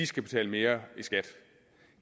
skal betale mere i skat